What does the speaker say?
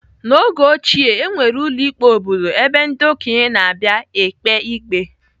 N'oge ochie, enwere ụlọ ikpe obodo ebe ndị okenye na-abịa ekpe ikpe.